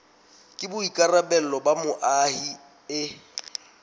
ke boikarabelo ba moahi e